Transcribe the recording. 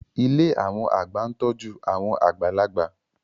Ilé àwọn àgbà ń tọ́jú àwọn àgbàlagbà